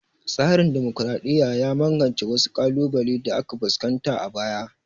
Tsarin dimokraɗiya ya magance wasu ƙalubalen da aka fuskanta a baya